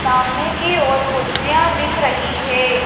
सामने की ओर कुर्सियां दिख रही है।